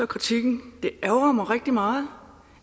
kritikken det ærgrer mig rigtig meget